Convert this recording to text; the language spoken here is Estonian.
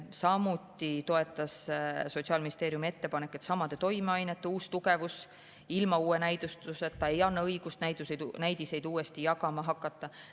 Samuti toetas Sotsiaalministeerium ettepanekut, et samade toimeainete uus tugevus ilma uue näidustuseta ei anna õigust näidiseid uuesti jagama hakata.